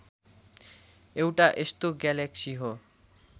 एउटा यस्तो ग्यालेक्सी हो